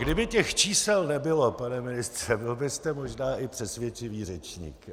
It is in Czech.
Kdyby těch čísel nebylo, pane ministře, byl byste možná i přesvědčivý řečník.